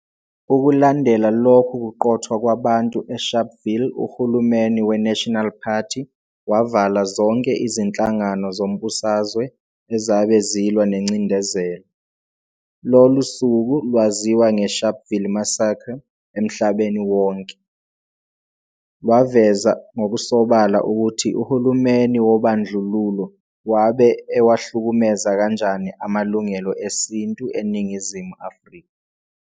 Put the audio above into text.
Ukulandela lokhu kuqothwa kwabantu eSharpville uHulumeni we-"National Party" wavala zonke izinhlangano zombusazwe ezabe zilwa nengcindezelo. Lolu suku lwaziwa nge-"Sharpville Massacre" emhlabeni wonke, lwaveza ngokusobala ukuthi uhulumeni wobandlululo wabe ewahlukumeza kanjani amalungelo esintu eNingizimu Afrika.